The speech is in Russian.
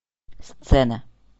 сцена